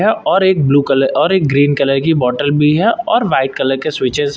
है और एक ब्लू कलर और एक ग्रीन कलर की बॉटल भी है और व्हाइट कलर के स्वीचेज हैं।